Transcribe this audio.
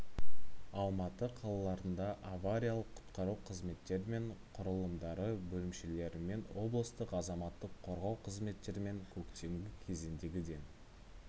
алматы қалаларында авариялық-құтқару қызметтері мен құралымдары бөлімшелерімен облыстық азаматтық қорғау қызметтерімен көктемгі кезеңдегі ден